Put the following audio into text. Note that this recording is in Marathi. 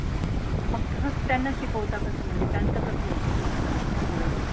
मग त्यांना शिकवता कसं? म्हणजे त्यांच कसंं होतं शिक्षण पुढे?